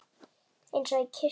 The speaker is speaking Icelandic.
Eins og í kirkju.